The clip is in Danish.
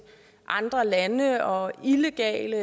andre lande og illegale